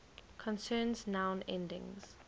concerns noun endings